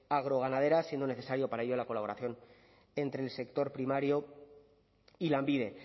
agroganaderas siendo necesario para ello la colaboración entre el sector primario y lanbide